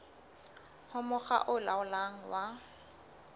ho mokga o laolang wa